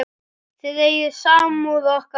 Þið eigið samúð okkar alla.